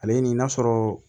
Ale ni n'a sɔrɔ